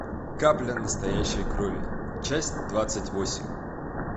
капля настоящей крови часть двадцать восемь